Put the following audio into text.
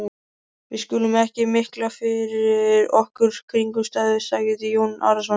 Við skulum ekki mikla fyrir okkur kringumstæður, sagði Jón Arason.